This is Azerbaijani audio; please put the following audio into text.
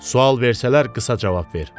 Sual versələr qısa cavab ver.